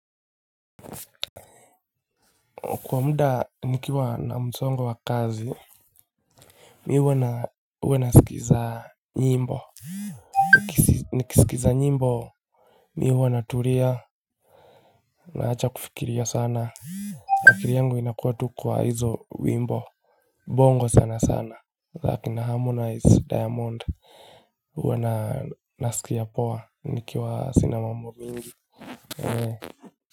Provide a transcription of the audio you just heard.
Kwa muda nikiwa na msongo wa kazi Mimi huwa nasikiza nyimbo Nikisikiza nyimbo Mimi huwa na tulia naacha kufikiria sana akili yangu inakuwa tu kwa hizo wimbo Bongo sana sana za akina harmonize diamond Uwa na nasikia poa nikiwa sina mambo mingi.